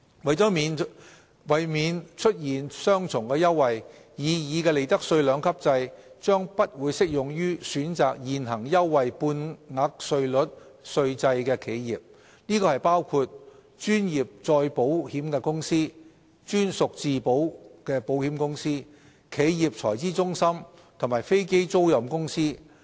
為免出現雙重優惠，擬議的利得稅兩級制將不適用於選擇現行優惠半額稅率稅制的企業，包括專業再保險公司、專屬自保保險公司、企業財資中心及飛機租賃公司。